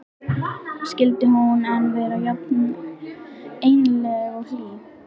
Skyldi hún enn vera jafn einlæg og hlý?